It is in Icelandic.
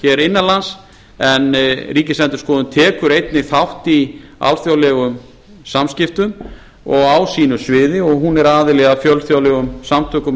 hér innanlands en ríkisendurskoðun tekur einnig þátt í alþjóðlegum samskiptum á sínu sviði og hún er aðili að fjölþjóðlegum samtökum